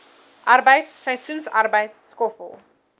arbeid seisoensarbeid skoffel